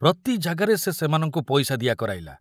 ପ୍ରତି ଜାଗାରେ ସେ ସେମାନଙ୍କୁ ପଇସା ଦିଆ କରାଇଲା।